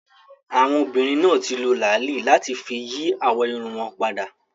Àwọn obìnrin náà ti lo làálí láti fi yí àwọ̀ irun wọn padà